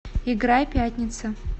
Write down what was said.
играй пятница